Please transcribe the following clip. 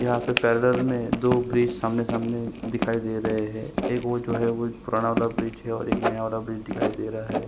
यहाँ में पर्रेल्ल में दो ब्रिज आमने-सामने दिखाई दे रहे है एक वो जो है वो पुराना वाला ब्रिज है और एक नया वाला ब्रिज दिखाई दे रहा है ।